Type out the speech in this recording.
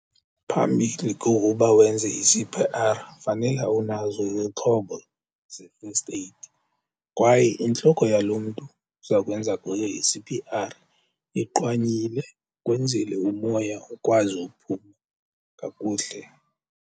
Phambili kokuba wenze i-C_P_R fanele unazo izixhobo ze-first aid. Kwaye intloko yaloo mntu uza kwenza kuye i-C_P_R iqwanyile kwenzele umoya ukwazi uphuma kakuhle.